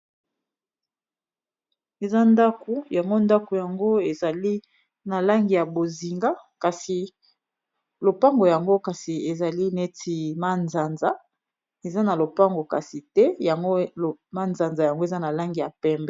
eza ndako yango ndako yango ezali na langi ya bozinga kasi lopango yango kasi ezali neti manzanza eza na lopango kasi te yangomanzanza yango eza na langi ya pembre